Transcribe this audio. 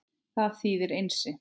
Það þýðir Einsi.